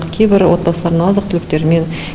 кейбір отбасыларына азық түліктермен